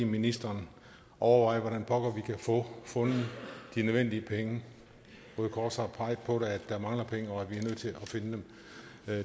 ministeren overveje hvordan pokker vi kan få fundet de nødvendige penge røde kors har peget på at der mangler penge og at vi er nødt til at finde dem